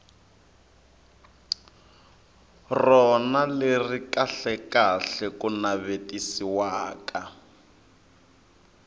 rona leri kahlekahle ku navetisiwaka